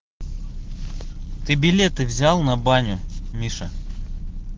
ты билеты взял на баню миша